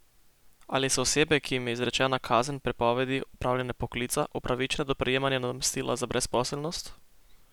Ali so osebe, ki jim je izrečena kazen prepovedi opravljanja poklica, upravičene do prejemanja nadomestila za brezposelnost?